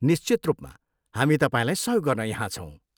निश्चित रूपमा! हामी तपाईँलाई सहयोग गर्न यहाँ छौँ।